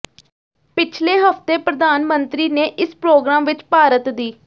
ਪਿਛਲੇ ਹਫ਼ਤੇ ਪ੍ਰਧਾਨ ਮੰਤਰੀ ਨੇ ਇਸ ਪ੍ਰੋਗਰਾਮ ਵਿਚ ਭਾਰਤ ਦੀ